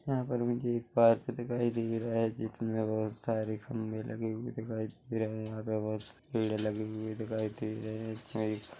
यहाँ पर मुझे एक पार्क दिखाई दे रहा है जिसमे बहोत सारे खम्बे लगे हुए दिखाई दे रहे है यहाँ पे बहुत सी भीड़ लगी हुई दिखाई दे रहे है इसमें एक --